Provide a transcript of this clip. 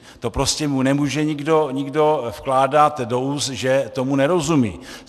To prostě mu nemůže nikdo vkládat do úst, že tomu nerozumí.